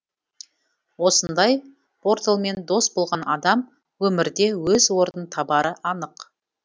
осындай порталмен дос болған адам өмірде өз орнын табары анық